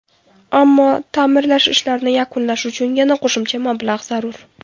Ammo, ta’mirlash ishlarini yakunlash uchun yana qo‘shimcha mablag‘ zarur.